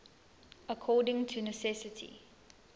according to necessity